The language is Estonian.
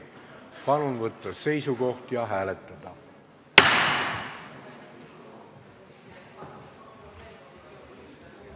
Palun võtta seisukoht ja hääletada!